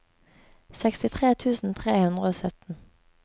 sekstitre tusen tre hundre og sytten